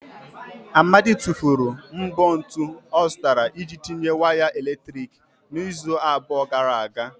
Amadi tụfuru mbọ ntu ọ zụtara iji tinye waya eletrik n'izu abụọ gara aga.